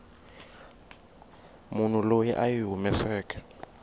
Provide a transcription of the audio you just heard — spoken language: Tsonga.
munhu loyi a yi humeseke